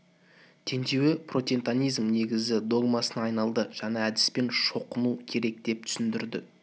теңдеуі протентантизмнің негізгі догмасына айналады жаңа әдіспен шоқыну керек деп түсіндірді